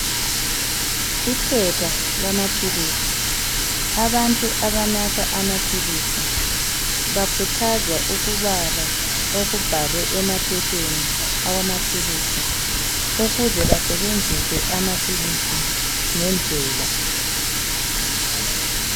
Iphepha lamaphilisi. Abantu abanatha amaphilisi bakhuthazwa ukubala okubhalwe emaphepheni awamaphilisi, ukuze basebenzise amaphilisi ngendlela.